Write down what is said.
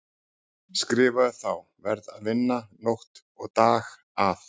Skrifaði þá: Verð að vinna nótt og dag að